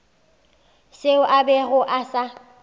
seo a bego a sa